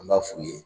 An b'a f'u ye